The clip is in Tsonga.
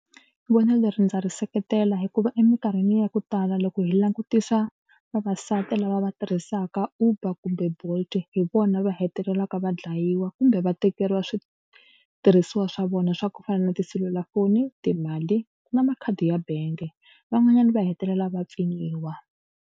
Vonelo leri ndza ri seketela hikuva emikarhini ya ku tala loko hi langutisa vavasati lava va tirhisaka Uber kumbe Bolt hi vona va hetelelaka va dlayiwa kumbe va tekeriwa switirhisiwa swa vona swa ku fana na tiselulafoni, timali ku na makhadi ya bank van'wanyana va hetelela va pfinyiwa.